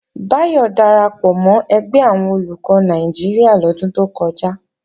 Báyọ̀ darapọ̀ mọ́ ẹgbẹ́ àwọn Olùkọ́ Nàìjíríà lọ́dún tó kọjá